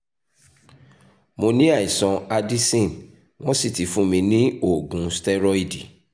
mo ni aisan addison won si ti fun mi ni oogun steroid